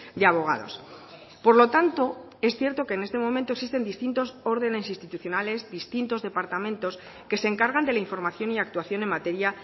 de abogados por lo tanto es cierto que en este momento existen distintos órdenes institucionales distintos departamento que se encargan de la información y actuación en materia